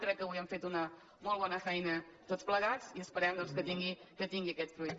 crec que avui hem fet una molt bona feina tots plegats i esperem doncs que tingui aquest fruit